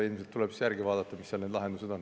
Ilmselt tuleb järgi vaadata, mis lahendused seal on.